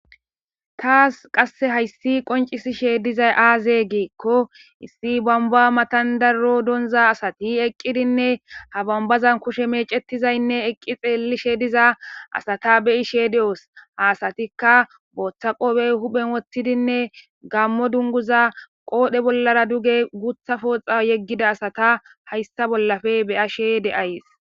taas qasse hayssi qoncisishe dizay aaze geekko issi bamba matandarro donza asati eqqidinne ha bambazan kushe meecetizaynne eqqi xeellishe diza asata beyishe de7oos haasatikka booththa qoobey huphen woththidinne gammo dunguza qoodhe bollara duge gutha pooxa yeggida asata hayssa bollafe beyashe de7ays